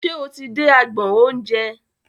Ṣe o ti dé agbọn oúnjẹ?